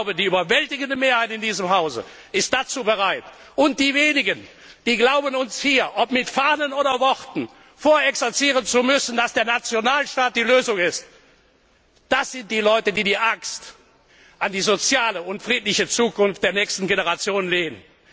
Ich glaube, die überwältigende Mehrheit in diesem Hause ist dazu bereit, und die wenigen, die glauben, uns hier ob mit Fahnen oder Worten vorexerzieren zu müssen, dass der Nationalstaat die Lösung ist, das sind die Leute, die die Axt an die soziale und friedliche Zukunft der nächsten Generation legen.